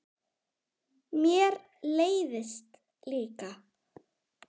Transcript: Mér leiðist líka.